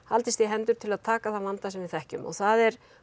haldist í hendur til að taka þann vanda sem við þekkjum og það er